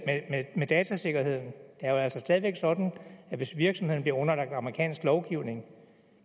datasikkerheden det er jo altså stadig væk sådan at hvis virksomheden bliver underlagt amerikansk lovgivning